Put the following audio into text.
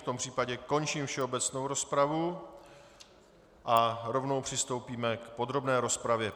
V tom případě končím všeobecnou rozpravu a rovnou přistoupíme k podrobné rozpravě.